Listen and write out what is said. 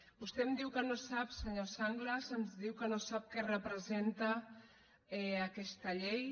vostè em diu que no sap senyor sanglas ens diu que no sap què representa aquesta llei